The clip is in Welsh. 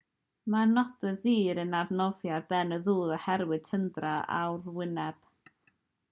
mae'r nodwydd ddur yn arnofio ar ben y dŵr oherwydd tyndra arwyneb